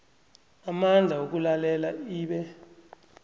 amandla wokulalela ibe